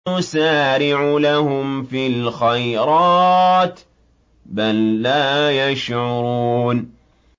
نُسَارِعُ لَهُمْ فِي الْخَيْرَاتِ ۚ بَل لَّا يَشْعُرُونَ